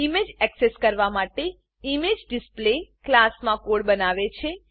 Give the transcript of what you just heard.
image access કરવા માટે image display image display ક્લાસમાં કોડ બનાવે છે